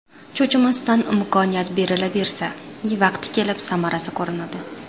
Cho‘chimasdan imkoniyat berilaversa, vaqti kelib samarasi ko‘rinadi.